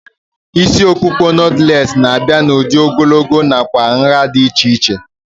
Isi ọkpụkpa nọtlees na-abịa n'udi ogologo nakwa nhá dị iche iche